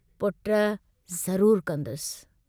पुट ज़रूर कंदुसि।